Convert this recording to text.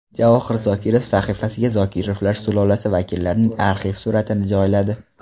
Javohir Zokirov sahifasiga Zokirovlar sulolasi vakillarining arxiv suratini joyladi.